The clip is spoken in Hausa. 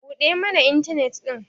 buɗe mana intanet din!